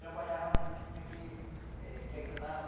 Trabalhava muito, tinha que eh que ajudar para...